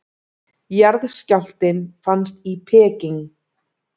Jarðskjálftinn fannst í Peking